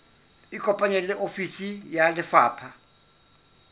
ikopanye le ofisi ya lefapha